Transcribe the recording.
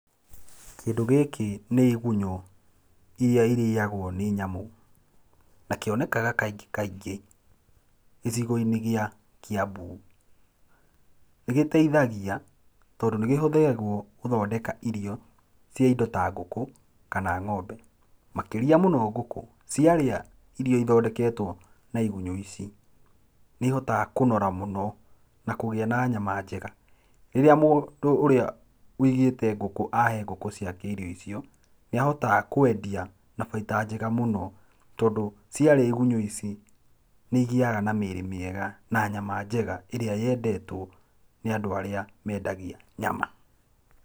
Kĩndũ gĩĩkĩ nĩ igunyũ iria irĩagwo nĩ nyamũ na kĩonekaga kaingĩ kaingĩ gicigo-inĩ gĩa Kiambu. Nĩ gĩteithagia tondũ nĩ kĩhũthĩragũo gũthondeka irio cia nyamũ ta ngũkũ kana ng'ombe, makĩria mũno ngũkũ ciarĩa irio ithondeketwo na igunyũ ici, nĩ ihotaga kũnora mũno na kũgĩa na nyama njega. Rĩrĩa mũndũ ũrĩa ũigĩte ngũkũ ahe ngũkũ ciake irio icio nĩ ahotaga kwendia na baita njega mũno tondũ ciarĩa igunyũ ici nĩigĩaga na mĩri mĩega na nyama njega ĩria yendetwo nĩ andũ arĩa mendagia nyama.